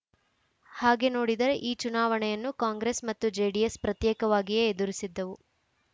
ಹಾಗೆ ನೋಡಿದರೆ ಈ ಚುನಾವಣೆಯನ್ನು ಕಾಂಗ್ರೆಸ್‌ ಮತ್ತು ಜೆಡಿಎಸ್‌ ಪ್ರತ್ಯೇಕವಾಗಿಯೇ ಎದುರಿಸಿದ್ದವು